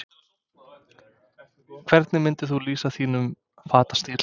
Hvernig myndir þú lýsa þínum fatastíl?